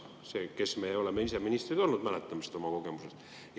Meie, kes me oleme ise ministrid olnud, mäletame seda oma kogemusest.